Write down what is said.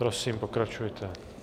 Prosím, pokračujte.